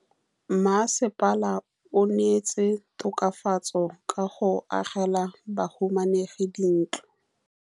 Mmasepala o neetse tokafatsô ka go agela bahumanegi dintlo.